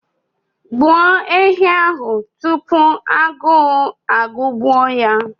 Gbuo ehi ahụ tupu agụụ agụgbuo ya!